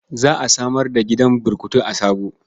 Za a samar da gidan burkutu a Sabo.